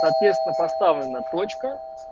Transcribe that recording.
соответственно поставлена точка